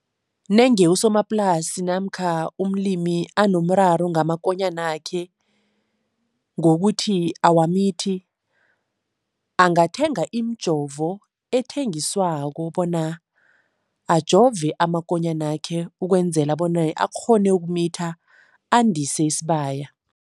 Nenge usomaplasi namkha umlimi anomraro ngamakonyanakhe ngokuthi awamithi, angathenga imijovo ethengiswako bona ajove amakonyanakhe ukwenzela bona akghone ukumitha, andise isibaya.